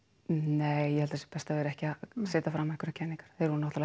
nei ég held að það sé best að vera ekki að setja fram einhverjar kenningar þeir voru náttúrulega